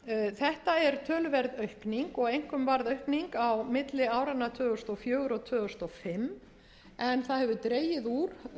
þetta er töluverð aukning og einkum varð aukning á milli áranna tvö þúsund og fjögur og tvö þúsund og fimm en það hefur dregið úr